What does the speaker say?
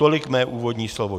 Tolik mé úvodní slovo.